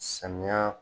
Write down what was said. Samiya